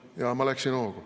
Jaa, ma läksin hoogu.